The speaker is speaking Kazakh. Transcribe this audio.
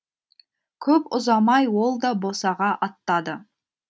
көп ұзамай ол да босаға аттады